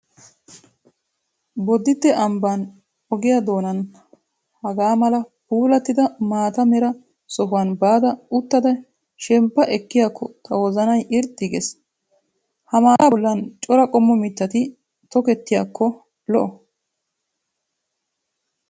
Bodditte ambban ogiyaa doonan hagaamala puulattida maata mera sohuwan baada uttada shemppa ekkiyaakko tawozanayi irxxi ges. Ha maataa bollan cora qommo mittati tokettiyaakko lo'o.